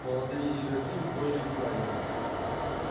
молодые игроки удвоили внимание